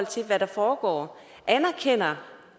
til hvad der foregår anerkender